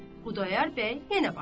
Xudayar bəy yenə başladı.